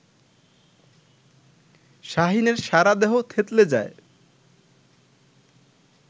শাহীনের সারাদেহ থেতলে যায়